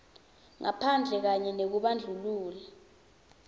ngaphandle kanye nekubandlulula